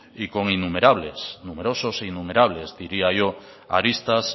y con innumerables numerosos e innumerables diría yo aristas